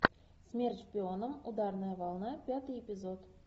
смерть шпионам ударная волна пятый эпизод